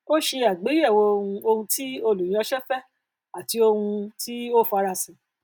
ó ṣe àgbéyẹwò um ohun tí olúyánṣẹ fẹ àti ohun um tí o farasin